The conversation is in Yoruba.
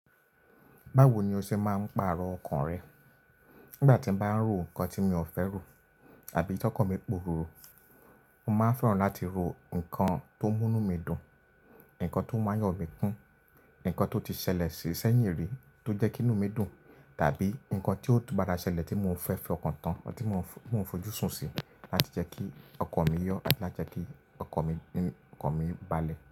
Báwo ni o ṣe máa ń pàrọ̀ ọkàn rẹ? Nígbà tí mo bá ń ro ǹkan tí mi ò fẹ́ rò, àbí tọkọ mi pòròrò, mo máa ń fẹ́ràn láti ro ǹkan tó múnú mi dùn, ǹkan tó máa yọ̀ mí kún, ǹkan tó ti ṣẹlẹ̀ sí sẹ́yìn rí tó jẹ́ kí inú mi dùn, tàbí ǹkan tí ó tú padà ṣẹlẹ̀ tí mo fẹ́ fi ọkàn tán ti mo ń fojúsùn sí láti jẹ́ kí ọkàn mi yọ̀ àti láti jẹ́ kí ọkàn mi balẹ̀.